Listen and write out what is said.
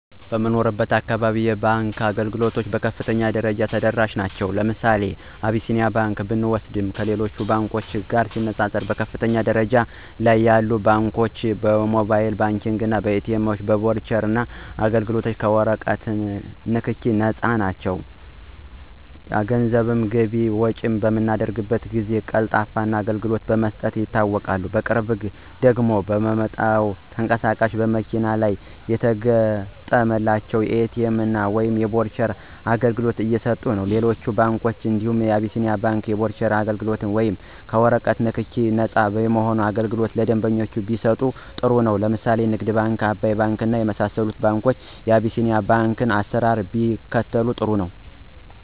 በምኖርበት አካባቢ የባንክ አገልግሎቶች በከፍተኛ ደረጃ ተደራሽ ናቸዉ። ለምሳሌ አብሲኒያ ባንክ ብንወስድ ከሌሎች ባንኮች ጋር ሲነፃፀር በከፍተኛ ደረጃ ላይ ያለ ባንክ ነው። በሞባይል ባንኪንግ፣ በኤቲኤም፣ በበርቹአል አገልግሎት፣ ከወረቀት ንክኪ ነፃ በሆነ መንገድ ደንበኞች ገንዘባቸውን ገቢ እና ወጭ በማድረግ ፈጣንና ቀልጣፋ አገልግሎት በመስጠት ይታወቃል። በቅርቡ ደግሞ ባመጣው ተንቀሳቃሽ በመኪና ላይ የተገጠመላቸው የኤቲኤም ወይም የበርቹአል አገልግሎት እየሰጠነው። ሌሎች ባንኮች እንደ አቢስኒያ ባንክ የበርቹአል አገልግሎት ወይም ከወረቀት ንክኪ ነፃ የሆነ አገልግሎት ለደንበኞቻቸው ቢሰጡ ጥሩ ነው። ለምሳሌ ንግድ ባንክ፣ አባይ ባንክ የመሳሰሉት ባንኮች የቢሲኒያን ባንክ አሰራር ቢከተሉ ጥሩ ነው።